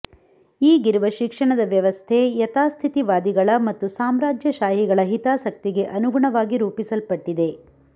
ಈಗಿರುವ ಶಿಕ್ಷಣದ ವ್ಯವಸ್ಥೆ ಯಥಾಸ್ಥಿತಿವಾದಿಗಳ ಮತ್ತು ಸಾಮ್ರಾಜ್ಯಶಾಹಿಗಳ ಹಿತಾಸಕ್ತಿಗೆ ಅನುಗುಣವಾಗಿ ರೂಪಿಸಲ್ಪಟ್ಟಿದೆ